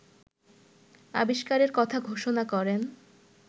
আবিষ্কারের কথা ঘোষণা করেন